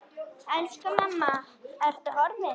Elsku mamma, Ertu horfin?